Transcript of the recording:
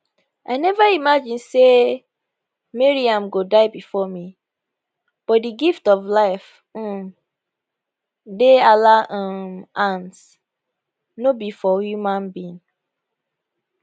i never imagine say maryam go die bifor me but di gift of life um dey allah um hands no be for human being